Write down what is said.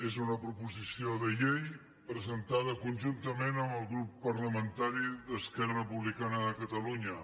és una proposició de llei presentada conjuntament amb el grup parlamentari d’esquerra republicana de catalunya